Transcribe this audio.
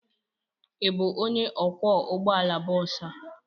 Ị bụ onye ọkwọ ụgbọ ala bọs a?